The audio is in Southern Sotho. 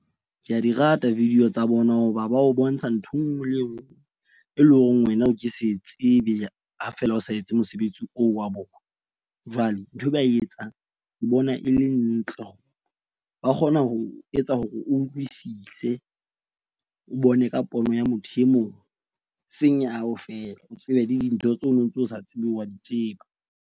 Ke a di rata video tsa bona hoba ba o bontsha ntho enngwe le enngwe, e leng hore wena o ke se tsebe ha feela o sa etse mosebetsi oo wa bona. Jwale nthwe ba e etsang ke bona e le ntle. Ba kgona ho etsa hore o utlwisise, o bone ka pono ya motho e mong seng ya hao feela, o tsebe le dintho tseo no ntso o sa tsebe wa di tseba.